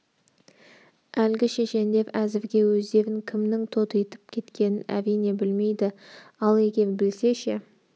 әлгі шешендер әзірге өздерін кімнің тотитып кеткенін әрине білмейді ал егер білсе ше